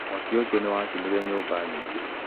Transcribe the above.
Mwaki ũcio nĩ wacinire nyũmba nyingĩ